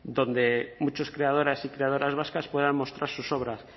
donde muchos creadores y creadoras vascas puedan mostrar sus obras